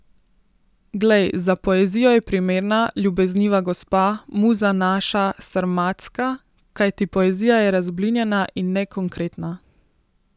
Glej, za poezijo je primerna, ljubezniva gospa, Muza naša sarmatska, kajti poezija je razblinjena in nekonkretna.